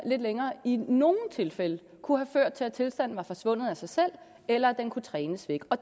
længere i nogle tilfælde kunne have ført til at tilstanden var forsvundet af sig selv eller at den kunne trænes væk og